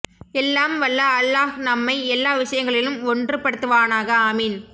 எல்லாம் வல்ல அல்லாஹ் நம்மை எல்லா விஷயங்களிலும் ஒன்றுபடுத்துவானாக ஆமீன்